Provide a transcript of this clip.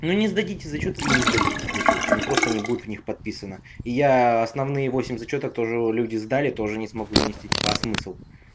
ну не сдадите зачётки и не сдадите зачётки ну просто не будет в них подписана и я основные восемь зачёток тоже люди сдали тоже не смогу занести типа а смысл